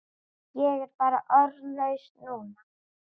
Ég er bara orðlaus núna.